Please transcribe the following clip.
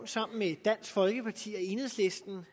sammen med dansk folkeparti og enhedslisten